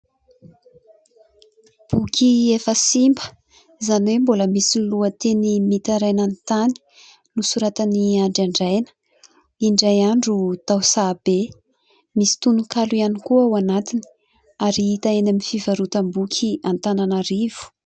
Boky efa simba izany hoe mbola misy lohateny "Mitaraina ny tany" nosoratan'i ny Andry Andraina, Indray andro tao Sahabe, misy tononkalo ihany koa ao anatiny ary hita eny amin'ny fivarotam-boky Antananarivo.